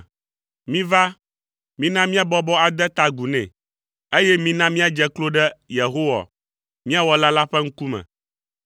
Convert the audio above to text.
Miva, mina míabɔbɔ ade ta agu nɛ, eye mina míadze klo ɖe Yehowa, mía Wɔla la ƒe ŋkume.